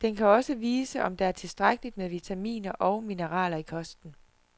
Den kan også vise, om der er tilstrækkeligt med vitaminer og mineraler i kosten.